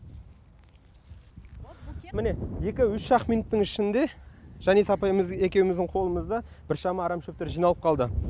міне екі үш ақ минуттың ішінде жаниса апайымыз екеуміздің қолымызда біршама арам шөптер жиналып қалды